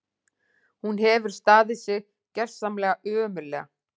Hún hefur staðið sig gjörsamlega ömurlega